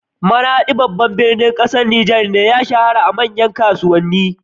Maraɗi, birni ne na ƙasar Nijar, ya shahara da manyan kasuwanni.